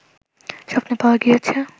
স্বপ্নে পাওয়া গিয়াছে